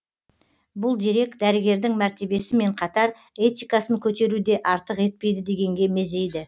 бұл дерек дәрігердің мәртебесімен қатар этикасын көтеру де артық етпейді дегенге мезейді